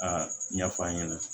A ɲɛ f'an ɲɛna